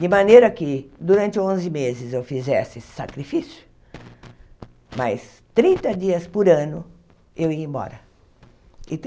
de maneira que durante onze meses eu fizesse esse sacrifício, mas trinta dias por ano eu ia embora.